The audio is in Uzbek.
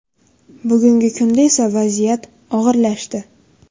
Bugungi kunda esa vaziyat og‘irlashdi.